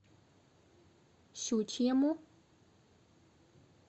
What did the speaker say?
щучьему